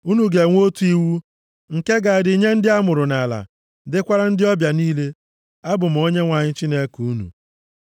Unu ga-enwe otu iwu nke ga-adị nye ndị amụrụ nʼala, dịkwara ndị ọbịa niile. Abụ m Onyenwe anyị Chineke unu.’ ”